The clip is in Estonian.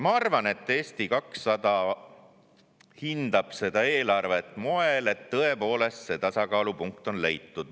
Ma arvan, et Eesti 200 hindab seda eelarvet moel, et see tasakaalupunkt on tõepoolest leitud.